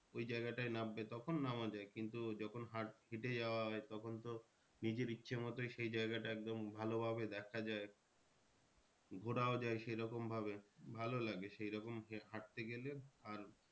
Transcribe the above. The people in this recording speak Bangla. ওই জায়গাটায় নামবে তখন নামা যায় কিন্তু যখন হেঁটে যাওয়া হয় তখন তো নিজের ইচ্ছা মতোই সেই জায়গাটা একদম ভালো ভাবে দেখা যায়। ঘোরাও যায় সে রকম ভাবে ভালো লাগে সে রকম হাঁটতে গেলে আর